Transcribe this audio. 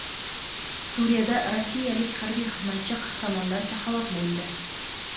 Suriyada rossiyalik harbiy xizmatchi qahramonlarcha halok bo‘ldi.